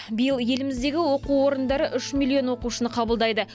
биыл еліміздегі оқу орындары үш миллион оқушыны қабылдайды